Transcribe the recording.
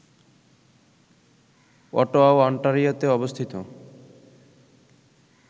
অটোয়াও অন্টারিওতে অবস্থিত